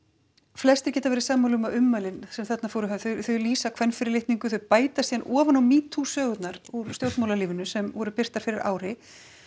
flestir geta verið sammála um að ummælin sem þarna voru höfð þau lýsa kvenfyrirlitningu þau bæta síðan ofan á metoo sögurnar úr stjórnmálalífinu sem voru birtar fyrir ári